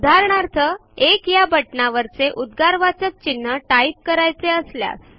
उदाहरणार्थ 1 या बटनावरचे उदगारवाचक चिन्ह टाइप करायचे असल्यास